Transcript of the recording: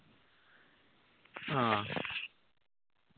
ആഹ്